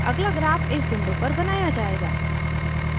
अगला ग्राफ इस विंडो पर बनाया जायेगा